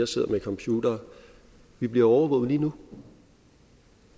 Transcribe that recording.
sidder med computere vi bliver overvåget lige nu